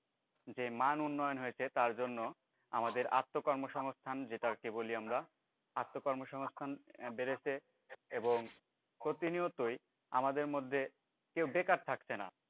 যে মান উন্নয়ন হয়েছে তার জন্য আমাদের আত্মকর্মসংস্থান যেটাকে বলি আমরা আত্মকর্মসংস্থান বেড়েছে এবং প্রতিনিয়তই আমাদের মধ্যে কেউ বেকার থাকছে না